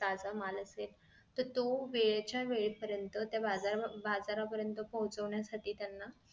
ताजा माल असेल तर तो वेळच्या वेळी पर्यंत त्या बाजार बाजार पर्यंत पोचवण्यासाठी त्यांना